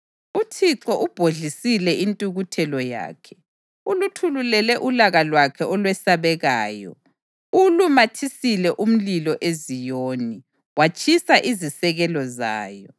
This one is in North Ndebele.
UThixo ubhodlisile intukuthelo yakhe; uluthulule ulaka lwakhe olwesabekayo. Uwulumathisile umlilo eZiyoni, watshisa izisekelo zayo.